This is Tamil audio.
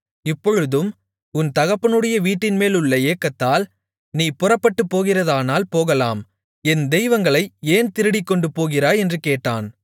இப்பொழுதும் உன் தகப்பனுடைய வீட்டின்மேலுள்ள ஏக்கத்தால் நீ புறப்பட்டுப்போகிறதானால் போகலாம் என் தெய்வங்களை ஏன் திருடிக்கொண்டு போகிறாய் என்று கேட்டான்